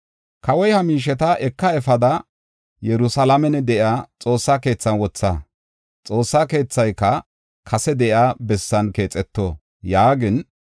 Kawoy, ‘Ha miisheta eka efada Yerusalaamen de7iya Xoossa keethan wotha; Xoossa keethayka kase de7iya bessan keexeto’ yaagin,